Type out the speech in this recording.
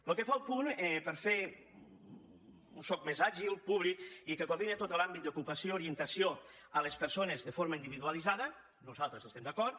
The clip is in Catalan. pel que fa al punt per fer un soc més àgil públic i que coordini tot l’àmbit d’ocupació orientació a les persones de forma individualitzada nosaltres hi estem d’acord